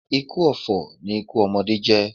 Ikú ọ̀fọ̀ ni ikú ọmọdé jẹ́.